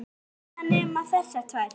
allar þínar nema þessar tvær.